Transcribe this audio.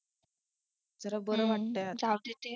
जरा बरं वाटतय आता